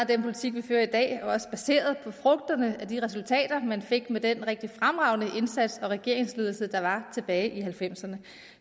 af den politik vi fører i dag er også baseret på frugterne af de resultater man fik med den rigtig fremragende indsats og regeringsledelse der var tilbage i nitten halvfemserne